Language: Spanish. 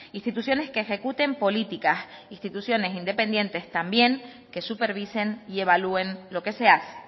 instituciones que ejecuten políticas instituciones independientes también que supervisen y evalúen lo que se hace